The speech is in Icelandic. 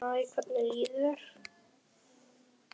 Hæ, hvernig líður þér?